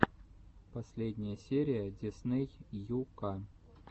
последняя серия дисней ю ка